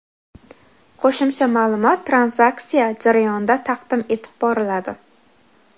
Qo‘shimcha ma’lumot tranzaksiya jarayonida taqdim etib boriladi.